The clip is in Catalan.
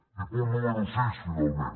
i punt número sis finalment